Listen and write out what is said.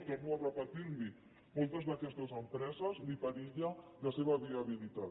torno a repetir li ho a moltes d’aquestes empreses els perilla la seva viabilitat